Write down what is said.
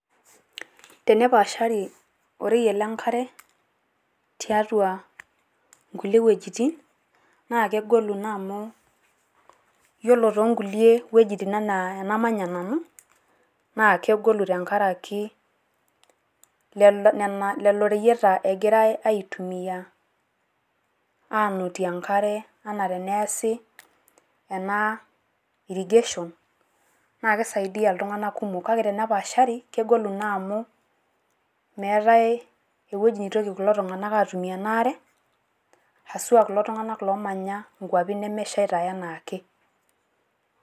Tenapaashari oreyiet le enkare tuatua inkulie wuejitin naa kegolu naa amu yiolo toonkulie wuejitin enaa enamanya nanu naa kegolu tenkaraki lelo reyieta egirai atumia anotie enkare ena teneesi ena irrigation. Kake tenepaashari kegolu naa amu meetai ewuaji nitoki kulo tung'anak atumie ena are haswa kulo tung'anak oomanya inkuapi nemeshaita enaa ake.